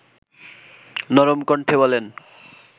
নরম কণ্ঠে বলেন